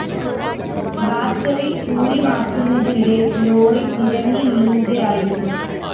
battery ഊരി മാറ്റുന്നതിനിടെ lorry നിരങ്ങി നീങ്ങുകയായിരുന്നു